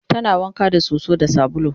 tana wanka da soso da sabulu